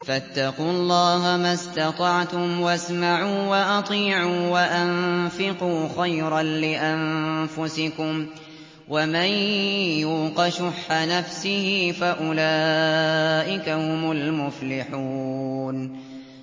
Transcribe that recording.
فَاتَّقُوا اللَّهَ مَا اسْتَطَعْتُمْ وَاسْمَعُوا وَأَطِيعُوا وَأَنفِقُوا خَيْرًا لِّأَنفُسِكُمْ ۗ وَمَن يُوقَ شُحَّ نَفْسِهِ فَأُولَٰئِكَ هُمُ الْمُفْلِحُونَ